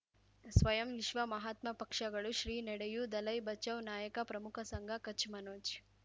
ಸ್ವಯಂ ವಿಶ್ವ ಮಹಾತ್ಮ ಪಕ್ಷಗಳು ಶ್ರೀ ನಡೆಯೂ ದಲೈ ಬಚೌ ನಾಯಕ ಪ್ರಮುಖ ಸಂಘ ಕಚ್ ಮನೋಜ್